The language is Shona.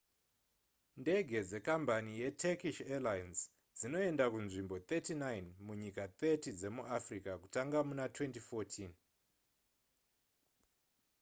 ndege dzekambani yeturkish airlines dzinoenda kunzvimbo 39 munyika 30 dzemuafrica kutanga muna 2014